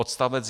Odst.